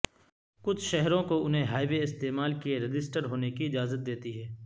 کچھ شہروں کو انہیں ہائی وے استعمال کے رجسٹرڈ ہونے کی اجازت دیتی ہے